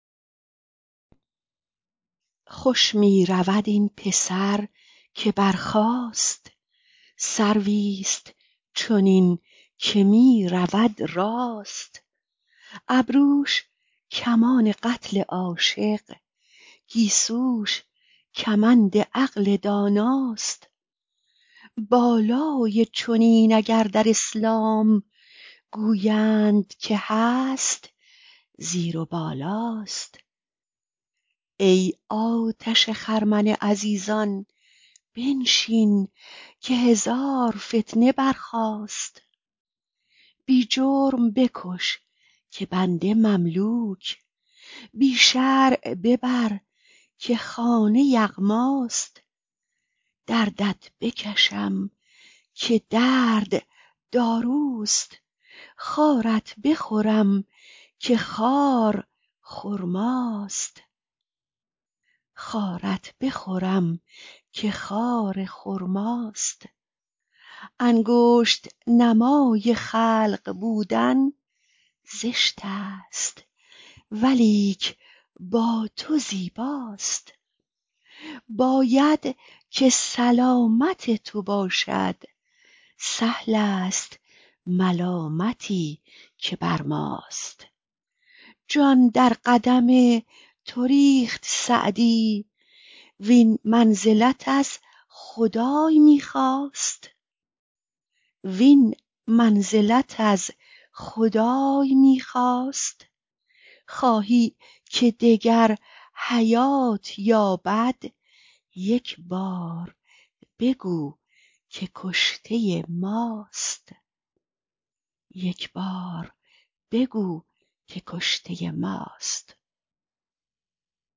خوش می رود این پسر که برخاست سرویست چنین که می رود راست ابروش کمان قتل عاشق گیسوش کمند عقل داناست بالای چنین اگر در اسلام گویند که هست زیر و بالاست ای آتش خرمن عزیزان بنشین که هزار فتنه برخاست بی جرم بکش که بنده مملوک بی شرع ببر که خانه یغماست دردت بکشم که درد داروست خارت بخورم که خار خرماست انگشت نمای خلق بودن زشت است ولیک با تو زیباست باید که سلامت تو باشد سهل است ملامتی که بر ماست جان در قدم تو ریخت سعدی وین منزلت از خدای می خواست خواهی که دگر حیات یابد یک بار بگو که کشته ماست